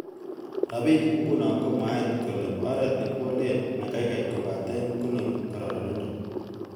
Rabinik ingunon komwaat kele oret nekiwolen nekaikai kobaten konori kororonindo.